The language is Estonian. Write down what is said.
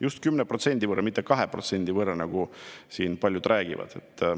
Just 10% võrra, mitte 2% võrra, nagu siin paljud räägivad.